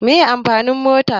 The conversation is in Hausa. Meye amfanin mota?